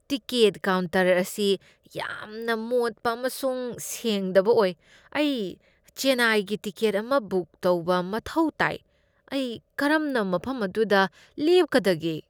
Ticket counter ꯑꯁꯤ ꯌꯥꯝꯅ ꯃꯣꯠꯄ ꯑꯃꯁꯨꯡ ꯁꯦꯡꯗꯕ ꯑꯣꯏ ꯫ ꯑꯩ ꯆꯦꯟꯅꯥꯏꯒꯤ ꯇꯤꯀꯦꯠ ꯑꯃ ꯕꯨꯛ ꯇꯧꯕ ꯃꯊꯧ ꯇꯥꯏ, ꯑꯩ ꯀꯔꯝꯅ ꯃꯐꯝ ꯑꯗꯨꯗ ꯂꯦꯞꯀꯗꯒꯦ?